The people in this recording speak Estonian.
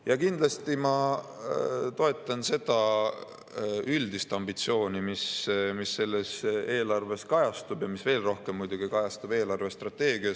Ja kindlasti ma toetan seda üldist ambitsiooni, mis eelarves kajastub ja mis veel rohkem muidugi kajastub eelarvestrateegias.